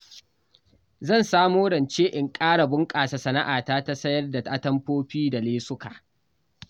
Zan samo rance na ƙara bunƙasa sana'ata ta sayar da atamfofi da lesuka